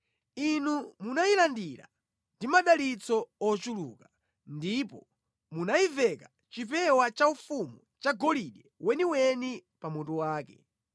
Inu munayilandira ndi madalitso ochuluka ndipo munayiveka chipewa chaufumu chagolide weniweni pa mutu wake.